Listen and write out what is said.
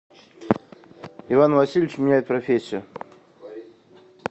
иван васильевич меняет профессию